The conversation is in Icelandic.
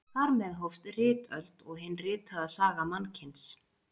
Þar með hófst ritöld og hin ritaða saga mannkyns.